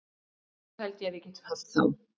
Þá held ég að við getum haft þá.